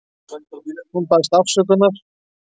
Hún baðst afsökunar.